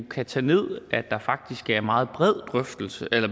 kan tage ned der faktisk er meget